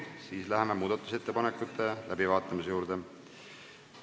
Siis läheme muudatusettepanekute läbivaatamise juurde.